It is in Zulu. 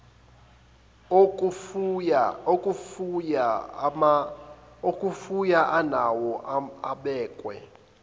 okufuya anawo abekwe